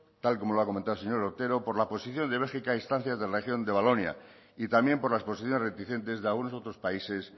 tal como lo ha comentado el señor otero por la posición de bélgica a instancias de la región de valonia y también por las posiciones reticentes de algunos otros países